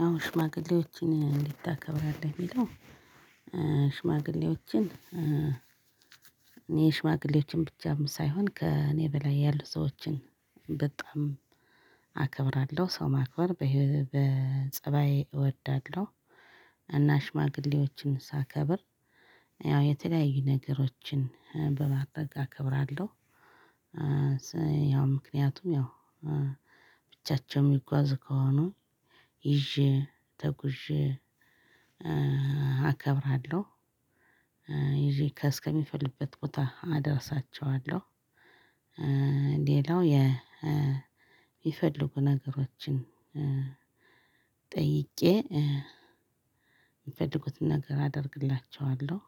ያው ሽማግሌዎችን እንዴት ታከብራለህ የሚለው? ሽማግሌዎችን የሽማግሌዎችን ብቻም ሳይሆን ከእኔ በላይ ያሉ ሰዎችን በጣም አከብራለሁ ሰው ማክበር በጸባዬ እወዳለሁ። እና ሽማግሌዎችን ሳከብር ያው የተለያዩ ነገሮችን በማረግ እከብራለሁ። ያው ምክንያቱም ያው ብቻቸው የሚጓዝ ከሆኑ ይዤ ተጉዤ አከብራለሁ። ይዤ እስከ ሚፈልጉበት ቦታ አደርሳቸዋለሁ። ሌላው የሚፈልጉ ነገሮችን ጠይቄ የሚፈልጉትን ነገር አደርግላቸዋለሁ።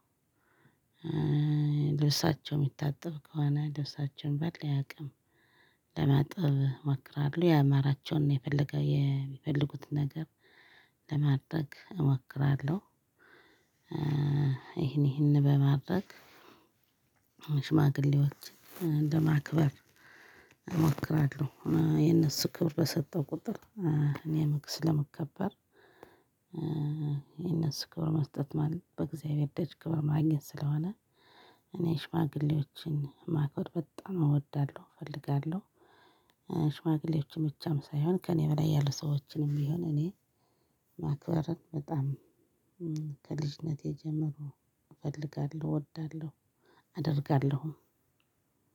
ለብሳቸው የሚታጠብ ከሆነ ልብሳቸውን ባለኝ አቅም ለማጥብ እመክራለሁ ያማራቸውን የሚፈልጉትን ነገር ለማድረግ እሞክራለሁ። ይሄን ይሄን በማድረግ ሽማግሌዎች ለማክበር እሞክራለሁ። የነሱ ክብር በሰጠው ቁጥር እኔም ስለምከበር። የነሱ ክብር መስጠት በእግዚአብሔር ደጅ ክብር ማግኘት ስለሆነ እኔ ሽማግሌዎችን ማክበር በጣም እወዳለሁ እፈልጋለሁ። ሽማግሌዎችም ብቻም ሳይሆን ከእኔ በላይ ያሉ ሰዎችንም ቢሆን እኔ ማክበርን በጣም ከልጅነቴ ጀምሮ እፈልጋለሁ እወዳለሁ አደርጋለሁ።